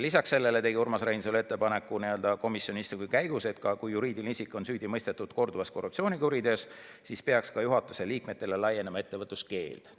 Lisaks sellele tegi Urmas Reinsalu komisjoni istungil ettepaneku, et kui juriidiline isik on süüdi mõistetud korduvas korruptsioonikuriteos, siis peaks ka juhatuse liikmetele laienema ettevõtluskeeld.